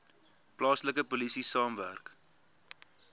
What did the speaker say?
plaaslike polisie saamwerk